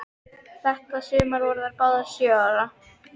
Þetta sumar voru þær báðar sjö ára.